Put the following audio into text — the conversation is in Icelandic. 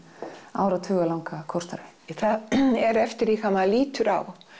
áratuga langa kórstarfi það er eftir því hvað maður lítur á